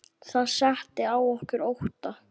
Það setti að okkur ótta.